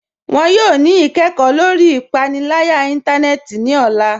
Wọn yọ ni ikẹkọ lọri ipanilaya ìntánẹnẹ́tì ni ọla